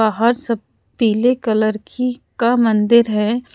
बाहर सब पीले कलर की का मंदिर हैं।